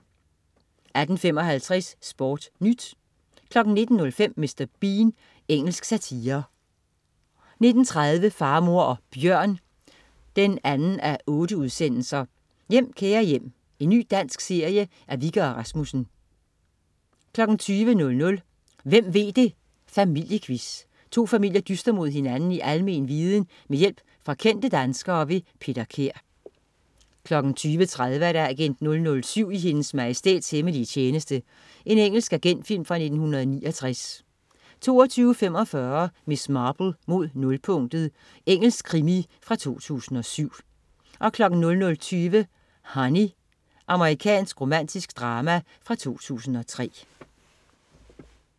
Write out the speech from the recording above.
18.55 SportNyt 19.05 Mr. Bean. Engelsk satire 19.30 Far, mor og bjørn 2:8. Hjem, kære hjem. Ny dansk serie af Wikke og Rasmussen 20.00 Hvem ved det! Familiequiz. To familier dyster mod hinanden i almen viden med hjælp fra kendte danskere. Peter Kær 20.30 Agent 007 i Hendes Majestæts hemmelige tjeneste. Engelsk agentfilm fra 1969 22.45 Miss Marple: Mod nulpunktet. Engelsk krimi fra 2007 00.20 Honey. Amerikansk romantisk drama fra 2003